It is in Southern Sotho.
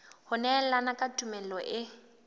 ho nehelana ka tumello e